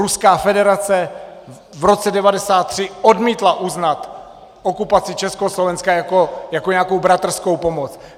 Ruská federace v roce 1993 odmítla uznat okupaci Československa jako nějakou bratrskou pomoc.